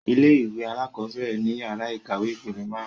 Ilé-ìwé àkọ́bẹ́ẹ̀rẹ̀ ni yàrá ìkàwé ìpele máarun